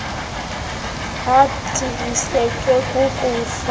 athi asutywe kukufa